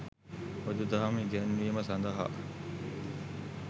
බුදු දහම ඉගැන්වීම සඳහා